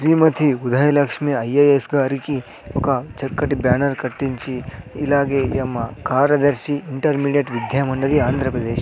శ్రీమతి Udayalakshmi IAS గారికి ఒక చక్కటి బ్యానర్ కట్టించి ఇలాగే ఈమ కార్యదర్శి ఇంటర్మీడియట్ విద్యా మండలి ఆంధ్రప్రదేశ్.